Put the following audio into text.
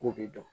K'o de dɔn